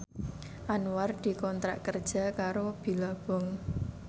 Anwar dikontrak kerja karo Billabong